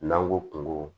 N'an ko kungo